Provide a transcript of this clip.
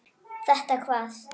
Þetta hvað?